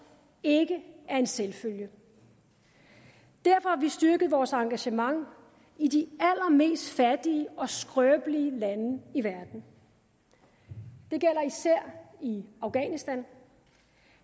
ikke er en selvfølge derfor har vi styrket vores engagement i de allermest fattige og skrøbelige lande i verden det gælder især i afghanistan